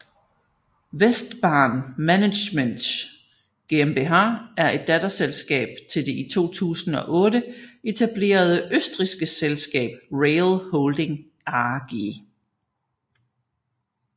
WESTbahn Management GmbH er et datterselskab til det i 2008 etablerede østrigske selskab RAIL Holding AG